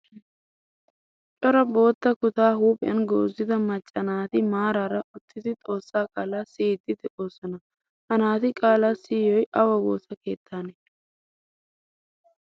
Cora boottaa kutta huuphphiyan goozida macca naati maarara uttidi xoosaa qaala siyidi deosona. Ha naati qaalaa siyoy awa woosaa keettane?